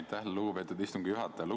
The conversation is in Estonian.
Aitäh, lugupeetud istungi juhataja!